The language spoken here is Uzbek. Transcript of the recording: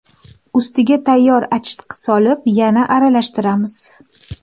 Ustiga tayyor achitqini solib, yana aralashtiramiz.